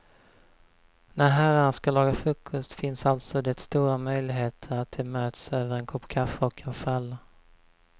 När herrarna ska laga frukost finns alltså det stora möjligheter att de möts över en kopp kaffe och en fralla.